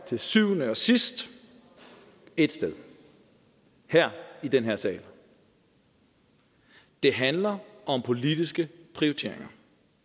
til syvende og sidst ét sted i den her sal det handler om politiske prioriteringer